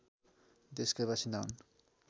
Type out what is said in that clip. देशका बासिन्दा हुन्